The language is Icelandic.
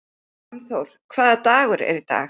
Fannþór, hvaða dagur er í dag?